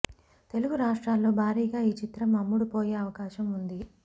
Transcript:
తెలుగు రాష్ట్రాల్లో భారీగా ఈ చిత్రం అమ్ముడు పోయే అవకాశం ఉంది